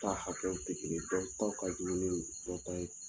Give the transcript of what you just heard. Ta hakɛw tɛ kelen ye dɔw ta ka juguni dɔ ta ye